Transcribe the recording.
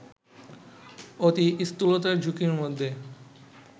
অতি স্থূলতার ঝুঁকির মধ্যে